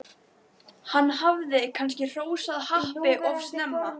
Hann hafði kannski hrósað happi of snemma?